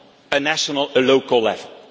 on a national or local level.